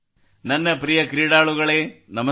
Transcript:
ನನ್ನ ಪ್ರಿಯ ಕ್ರೀಡಾಳುಗಳೇ ನಮಸ್ಕಾರ